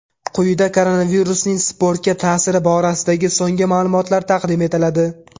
Quyida koronavirusning sportga ta’siri borasidagi so‘nggi ma’lumotlar taqdim etiladi.